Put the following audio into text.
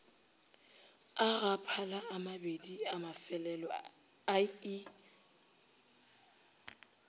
a gaphala amabedi amafelelo ie